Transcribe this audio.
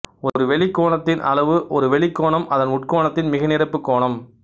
ஒரு வெளிக்கோணத்தின் அளவு ஒரு வெளிக்கோணம் அதன் உட்கோணத்தின் மிகைநிரப்பு கோணம்